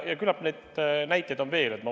Ja küllap neid näiteid on veel.